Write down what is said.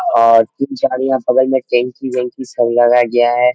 और तीन चार यहां बगल में टंकी - वांकी सब लगाए गया है।